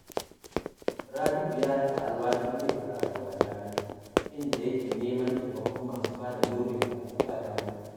Rabi’u ya sha alawashin yin karatu a jami’a, inda yake neman taimakon masu ba da gurbin karatu a jami'a